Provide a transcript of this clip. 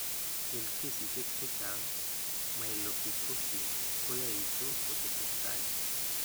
Eng' kesisiek chechang', myelofibrosis koyaitu kotesetai.